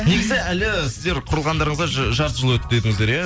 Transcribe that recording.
негізі әлі сіздер құрылғандарыңызға жарты жыл өтті дедіңіздер иә